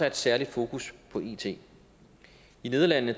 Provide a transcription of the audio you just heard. et særligt fokus på it i nederlandene